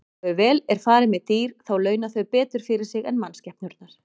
Og ef vel er farið með dýr þá launa þau betur fyrir sig en mannskepnurnar.